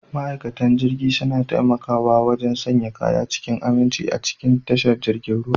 Ma'aikatan jirgi suna taimakawa wajen sanya kaya cikin aminci a cikin tashar jiragen ruwa.